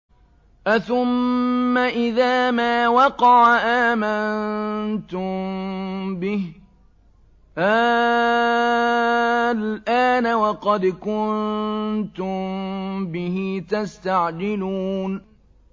أَثُمَّ إِذَا مَا وَقَعَ آمَنتُم بِهِ ۚ آلْآنَ وَقَدْ كُنتُم بِهِ تَسْتَعْجِلُونَ